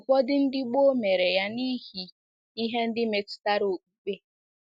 Ụfọdụ ndị gboo mere ya n’ihi ihe ndị metụtara okpukpe.